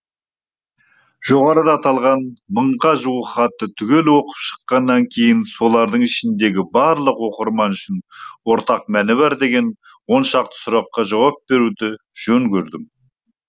жоғарыда аталған мыңға жуық хатты түгел оқып шыққаннан кейін солардың ішіндегі барлық оқырман үшін ортақ мәні бар деген оншақты сұраққа жауап беруді жөн көрдім